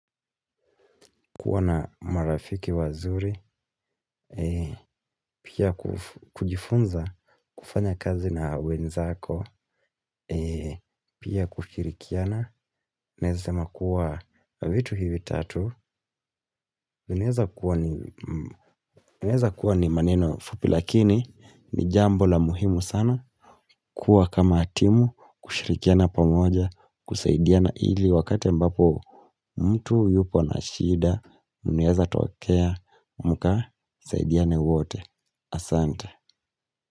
Kuwa na marafiki wazuri. Pia kujifunza kufanya kazi na wenzako ee. Pia kushirikiana. Nawezasema kuwa vitu hivi tatu. Nawezakuwa ni maneno fupi. Lakini ni jambo la muhimu sana. Kuwa kama atimu. Kushirikiana pamoja. Kusaidiana ili wakati mbapo mtu yupo na shida inaweza tokea. Muka saidiane wote, asante.